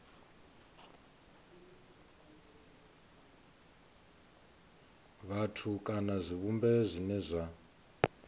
vhathu kana zwivhumbeo zwine zwa